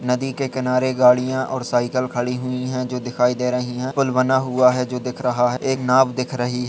नदी के किनारे गाड़ियां और साइकिल खड़ी हुई है जो दिखाई दे रही हैं। पुल बना हुआ है जो दिख रहा है। एक नाव दिख रही --